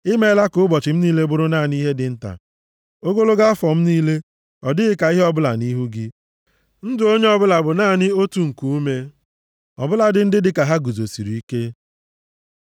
I meela ka ụbọchị m niile bụrụ naanị ihe dị nta; ogologo afọ m niile adịghị ka ihe ọbụla nʼihu gị. Ndụ onye ọbụla bụ naanị otu nkuume ọbụladị ndị dịka ha guzosirike. Sela